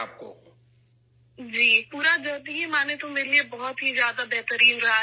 ہاں، اگر ہم پورے سفر پر غور کریں تو یہ میرے لیے بہت اچھا رہا ہے